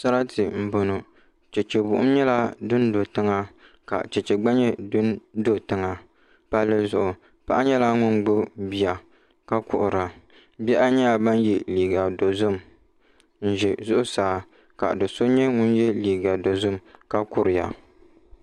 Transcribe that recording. Sarati n boŋo chɛchɛ buɣum nyɛla din do tiŋa ka chɛchɛ gba nyɛ din do tiŋa palli zuɣu paɣa nyɛla ŋun gbubi bia ka kuhura bihi ayi nyɛla ban yɛ liiga dozim n ʒɛ zuɣusaa ka do so nyɛ ŋun yɛ liiga dozim ka kuriya